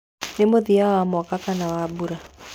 Nĩ mũthia wa mwaka kana wa mbura.